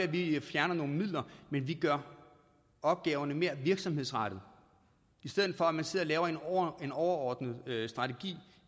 vi fjerner nogle midler men vi gør opgaverne mere virksomhedsrettede i stedet for at man sidder og laver en overordnet strategi